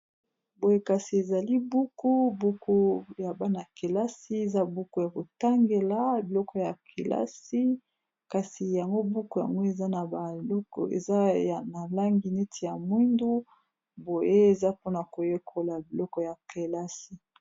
Boye kasi ezali buku, buku ya bana kelasi eza buku ya kotangela biloko ya kelasi kasi yango buku yango eza na baloko eza na langi neti ya mwindu boye eza mpona koyekola biloko ya kelasi.